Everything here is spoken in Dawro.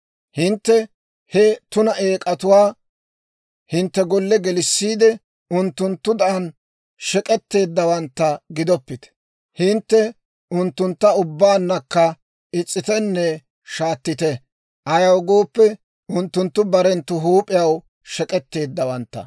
Hintte he tuna eek'atuwaa hintte golle gelissiide, unttunttudan shek'etteeddawaantta gidoppite. Hintte unttuntta ubbaannakka is's'itenne shaatettite; ayaw gooppe, unttunttu barenttu huup'iyaw shek'etteeddawaantta.